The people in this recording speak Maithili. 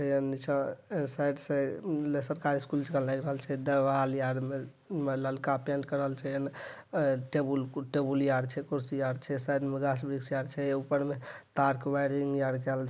नीचा अ साइड से सरकारी स्कूल जका लाऐग रहल छै देवाल आर मे ललका पेन्ट करल छै एमे टेबुल आर छैकुर्सी आर छै साइड में गाछ-वृक्ष आर छै ऊपर मे तार के वायरिंग आर काऐल छै।